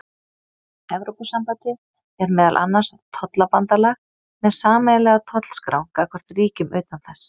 evrópusambandið er meðal annars tollabandalag með sameiginlega tollskrá gagnvart ríkjum utan þess